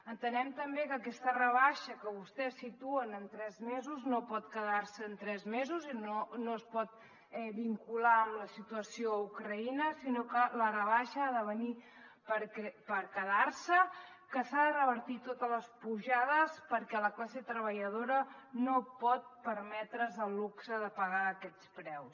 entenem també que aquesta rebaixa que vostès situen en tres mesos no pot quedar se en tres mesos i no es pot vincular amb la situació a ucraïna sinó que la rebaixa ha de venir per quedar se que s’han de revertir totes les pujades perquè la classe treballadora no pot permetre’s el luxe de pagar aquests preus